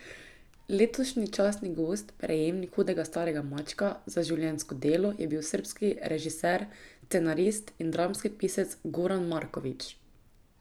Letošnji častni gost, prejemnik hudega starega mačka za življenjsko delo, je bil srbski režiser, scenarist in dramski pisec Goran Marković.